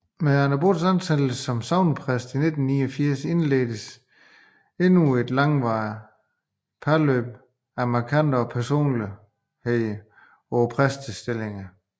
Med Anne Braads ansættelse som sognepræst i 1989 indledtes endnu et langvarigt parløb af markante personligheder på præstestillingerne